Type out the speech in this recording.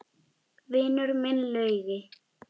Vinur minn Laugi!